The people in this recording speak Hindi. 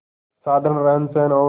साधारण रहनसहन और